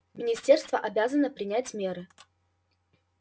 министерство обязано принять меры